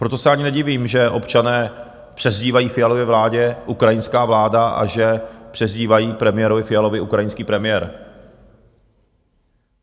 Proto se ani nedivím, že občané přezdívají Fialově vládě "ukrajinská vláda" a že přezdívají premiérovi Fialovi "ukrajinský premiér".